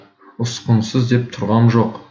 ұсқынсыз деп тұрғам жоқ